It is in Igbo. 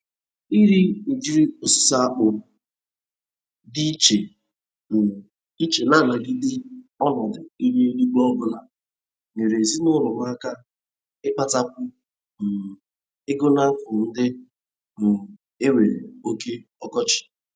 Ire ụdịrị osisi akpụ dị ịche um iche na-anagide ọnọdụ ihu eluigwe obụla nyere ezina ụlọ m aka ịkpatakwu um ego n'afọ ndị um e nwere oke ọkọchị.